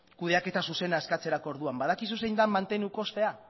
kudeaketa zuzena eskatzerako orduan badakizu zein den mantendu kostea